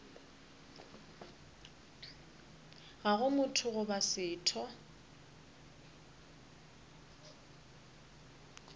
ga go motho goba setho